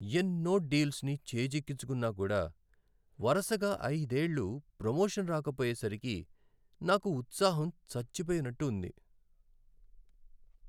ఎన్నో డీల్స్ని చేజిక్కించుకున్నా కూడా వరసగా ఐదేళ్ళు ప్రొమోషన్ రాకపోయేసరికి నాకు ఉత్సాహం చచ్చిపోయినట్టు ఉంది.